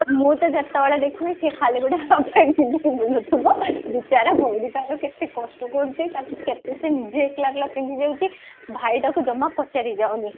ମୁଁ ତ ଯେତେବେଳେ ଦେଖିବି ସେ ଖାଲି ଗୋଟେ half pant ପିନ୍ଧିକି ବୁଲୁଥିବ ବିଚରା ଭଉଣି ତାର କେତେ କଷ୍ଟ କରୁଛି ତାକୁ କେତେ ସିଏ ନିଜେ ଏକେଲା ଏକେଲା ପିନ୍ଧି ଦଉଛି ଭାଇଟାକୁ ଜମା ପଚାରି ଯାଉନି